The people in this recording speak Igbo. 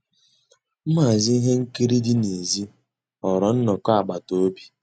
Nhàzí íhé nkírí dị́ nèzí ghọ́ọ́rà nnọ́kọ́ àgbàtà òbí.